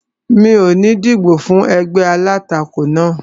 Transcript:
Mi ò ní dìbò fún ẹgbẹ́ alátakò náà